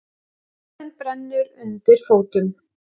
Jörðin brennur undir fótum